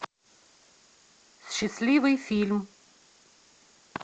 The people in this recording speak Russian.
счастливый фильм